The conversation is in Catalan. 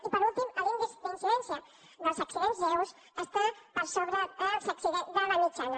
i per últim l’índex d’incidència dels accidents lleus està per sobre de la mitjana